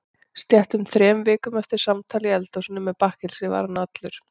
Sléttum þremur vikum eftir samtal í eldhúsinu með bakkelsi var hann allur.